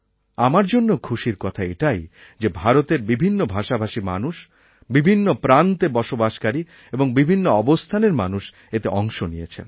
আমার জন্যেও খুশির কথা এটাই যে ভারতের বিভিন্ন ভাষাভাষী মানুষ বিভিন্ন প্রান্তে বসবাসকারী এবং বিভিন্ন অবস্থানের মানুষ এতে অংশ নিয়েছেন